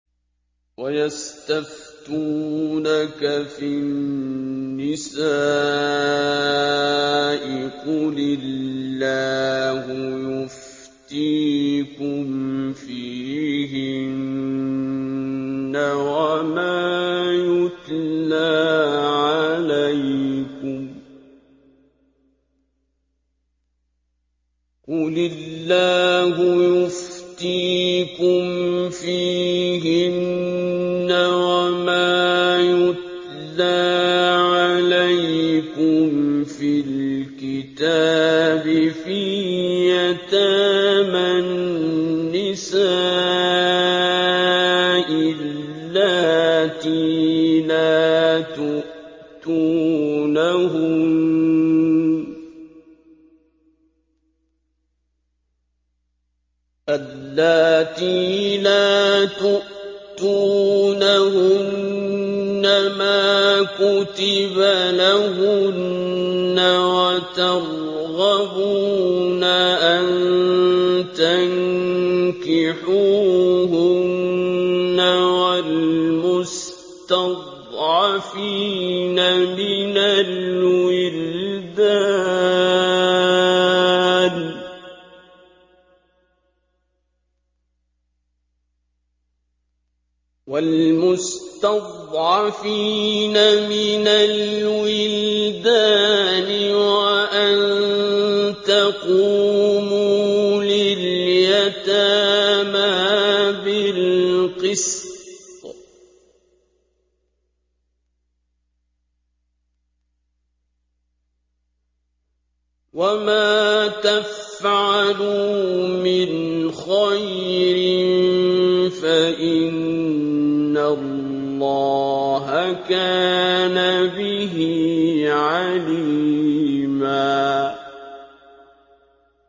وَيَسْتَفْتُونَكَ فِي النِّسَاءِ ۖ قُلِ اللَّهُ يُفْتِيكُمْ فِيهِنَّ وَمَا يُتْلَىٰ عَلَيْكُمْ فِي الْكِتَابِ فِي يَتَامَى النِّسَاءِ اللَّاتِي لَا تُؤْتُونَهُنَّ مَا كُتِبَ لَهُنَّ وَتَرْغَبُونَ أَن تَنكِحُوهُنَّ وَالْمُسْتَضْعَفِينَ مِنَ الْوِلْدَانِ وَأَن تَقُومُوا لِلْيَتَامَىٰ بِالْقِسْطِ ۚ وَمَا تَفْعَلُوا مِنْ خَيْرٍ فَإِنَّ اللَّهَ كَانَ بِهِ عَلِيمًا